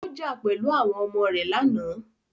Ó jà pẹ̀lú àwọn ọmọ rẹ lánàá.